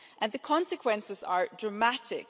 The consequences are dramatic.